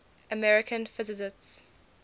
american physicists